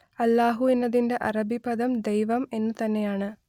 അല്ലാഹു എന്നതിന്റെ അറബി പദം ദൈവം എന്നു തന്നെയാണ്